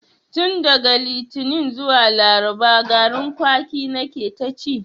Tun daga litani zuwa laraba garin kwaki na ke ta ci